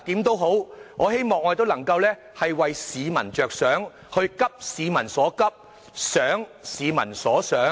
但無論如何，我希望我們能夠為市民着想，急市民所急，想市民所想。